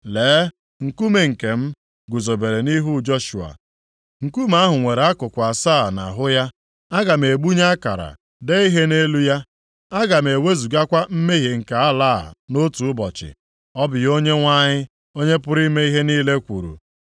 Lee, nkume nke m guzobere nʼihu Joshua. Nkume ahụ nwere akụkụ + 3:9 Maọbụ, ihu asaa asaa nʼahụ ya, aga m egbunye akara dee ihe nʼelu ya. Aga m ewezugakwa mmehie nke ala a nʼotu ụbọchị.’ Ọ bụ ihe Onyenwe anyị, Onye pụrụ ime ihe niile kwuru.